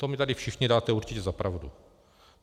To mi tady všichni dáte určitě za pravdu.